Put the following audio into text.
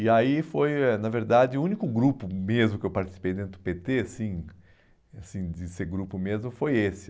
E aí foi, eh na verdade, o único grupo mesmo que eu participei dentro do pê tê, assim, assim de ser grupo mesmo, foi esse.